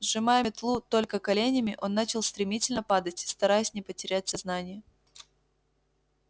сжимая метлу только коленями он начал стремительно падать стараясь не потерять сознание